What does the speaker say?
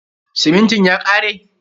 Simintin ya kare?